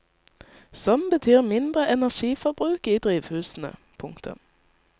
Som betyr mindre energiforbruk i drivhusene. punktum